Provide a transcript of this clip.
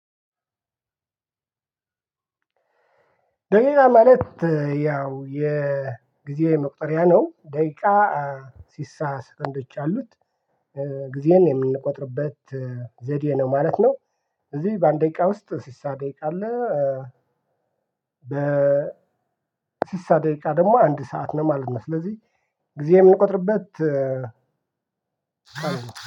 ደቂቃ ማለት ያው የጊዜ መቁጠሪያ ነው ደቂቃ እ ስድሳ ሰኮንዶች አሉት። እ ጊዜን የምንቆጥርበት ዘዴ ነው ማለት ነው። እዚህ በአንድ ደቂቃ ውስጥ ስድሳ ደቂቃ አለ። በ ስድሳ ደቂቃ ደግሞ አንድ ሰዓት ነው ማለት ነው። ስለዚህ ጊዜ የምንቆጥርበት